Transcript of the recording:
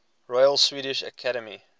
royal swedish academy